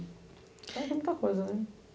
É muita coisa, né?